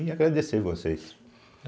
E agradecer vocês.